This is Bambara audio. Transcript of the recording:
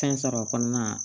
Fɛn sɔrɔ o kɔnɔna na